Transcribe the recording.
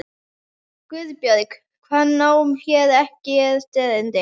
GUÐBJÖRG: Hann á hér ekkert erindi.